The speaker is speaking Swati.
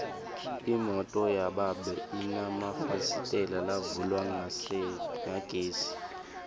imoto yababe inemafasitela lavulwa ngagesi